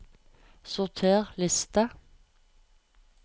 Sorter liste